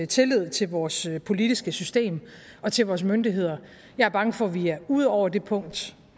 tillid til vores politiske system og til vores myndigheder jeg er bange for at vi er ude over det punkt